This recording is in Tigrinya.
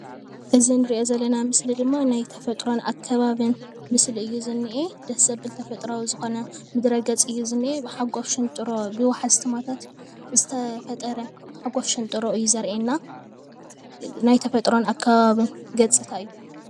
እዚ እንርእዮ ዘለና ምስሊ ድማ ናይ ተፈጥሮ ኣከባብን ምስሊ እዩ ዝንኤ ደስ ዘብል ተፈጥራዊ ዝኮነ ምድረ ግጽ እዩ ዝንኤ ሓጋፍ ሽንጥሮ ብወሓዝቲ ማያታት ዝተፈጠረ ሓጋፍ ሽንጥሮ እዩ ዘርእየና ናይ ተፈጥሮን ኣከባብን ገጽታ እዩ።